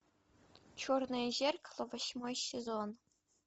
черное зеркало восьмой сезон